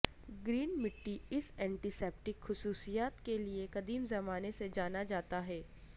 green مٹی اس antiseptic خصوصیات کے لئے قدیم زمانے سے جانا جاتا ہے